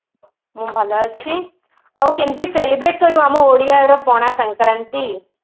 ମୁଁ ଭଲ ଅଛି ଆଉ କେମିତି celebrate କଲୁ ଆମ ଓଡିଆର ପଣା ସଙ୍କ୍ରାନ୍ତି